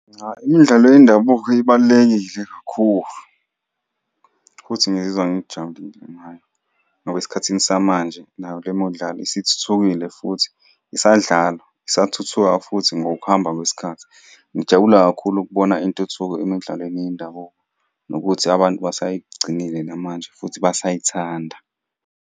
Cha, imidlalo yendabuko ibalulekile kakhulu, futhi ngizizwa ngijabulile ngayo ngoba esikhathini samanje nayo le midlalo isithuthukile, futhi isadlalwa. Isathuthuka futhi ngokuhamba kwesikhathi. Ngijabula kakhulu ukubona intuthuko emidlalweni yendabuko nokuthi abantu basayigcinile namanje futhi basayithanda.